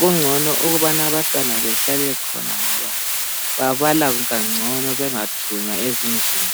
kungcono ukubana abantwana behlale khona ngoba babala kangcono bengathunywa ezindlini.